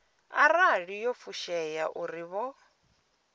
arali yo fushea uri vho